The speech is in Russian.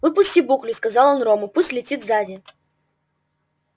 выпусти буклю сказал он рону пусть летит сзади